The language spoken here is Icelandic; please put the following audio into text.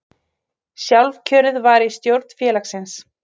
Sjálfkjörið var í stjórn félagsins